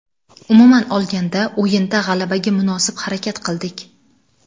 Umuman olganda, o‘yinda g‘alabaga munosib harakat qildik.